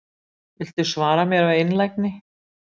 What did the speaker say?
Viltu svara mér af einlægni?